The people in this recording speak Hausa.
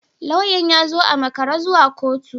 Lauyan ya zo a makare zuwa kotu